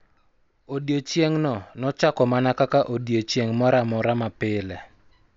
Odiechieng�no nochako mana kaka odiechieng� moro amora ma pile.